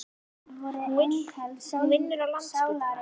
Hún vinnur á Landspítalanum.